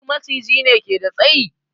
Duk Maciji ne ke da tsayi?